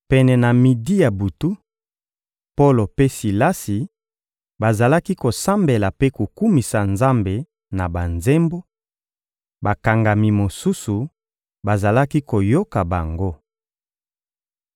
Pene na midi ya butu, Polo mpe Silasi bazalaki kosambela mpe kokumisa Nzambe na banzembo; bakangami mosusu bazalaki koyoka bango.